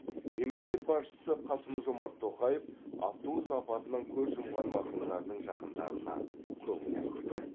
мемлекет басшысы қасым жомарт тоқаев автобус апатынан көз жұмған марқұмдардың жақындарына көңіл айтты